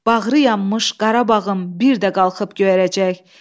Bağrıyanmış Qarabağım bir də qalxıb göyərəcək.